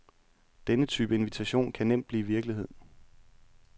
Denne type invitation kan nemt blive virkelighed.